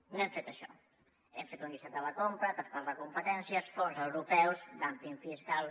no hem fet això hem fet un llistat de la compra traspàs de competències fons europeus dumping fiscal